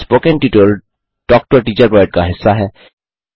spoken tutorial talk to a teacher project का हिस्सा है